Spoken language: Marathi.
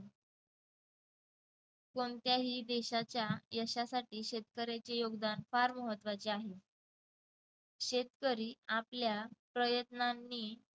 कोणत्याही देशाच्या यशासाठी शेतकऱ्याचे योगदान फार महत्त्वाचे आहे. शेतकरी आपल्या प्रयत्नांनी